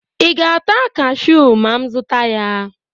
ị ga-ata cashew ma m zụta ya?